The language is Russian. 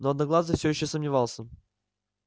но одноглазый всё ещё сомневался